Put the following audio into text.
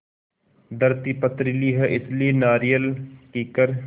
धरती पथरीली है इसलिए नारियल कीकर